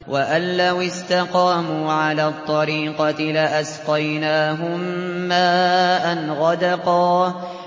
وَأَن لَّوِ اسْتَقَامُوا عَلَى الطَّرِيقَةِ لَأَسْقَيْنَاهُم مَّاءً غَدَقًا